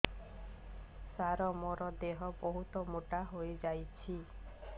ସାର ମୋର ଦେହ ବହୁତ ମୋଟା ହୋଇଯାଉଛି